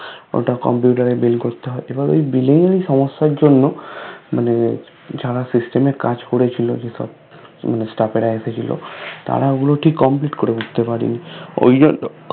ওটা কম্পিউটার এ Bill করতে হয় এবং ওই bill সমস্যার জন্য মানে যারা System এর কাজ করেছিল যে সব Staff রা এসেছিলো তারা ওই গুলো ঠিক Complete করে উঠতে পারেনি ওই জন্য